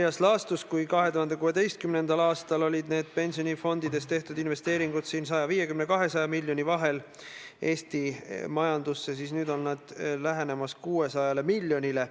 Minu meelest sai Riigikantselei väga ilus ja ju see oli toonase riigisekretäri Heiki Loodi initsiatiiv – ma võin muidugi eksida, sel juhul vabandan tema ees, ma täpselt ei tea –, et sinna pandi ka need peaministrid, kes olid peaministrid eksiilis.